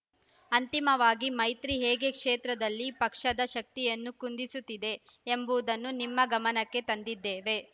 ಅಂತಿಮವಾಗಿ ಮೈತ್ರಿ ಹೇಗೆ ಕ್ಷೇತ್ರದಲ್ಲಿ ಪಕ್ಷದ ಶಕ್ತಿಯನ್ನು ಕುಂದಿಸುತ್ತಿದೆ ಎಂಬುದನ್ನು ನಿಮ್ಮ ಗಮನಕ್ಕೆ ತಂದಿದ್ದೇವೆ